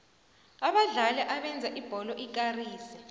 abadlali abenza ibholo ikarise